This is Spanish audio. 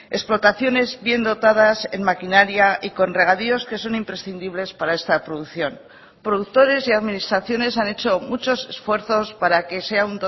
explotaciones bien dotadas en maquinaria y con regadíos que son imprescindibles para esta producción productores y administraciones han hecho muchos esfuerzos para que sea